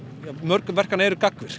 ja mörg verkanna eru gagnvirk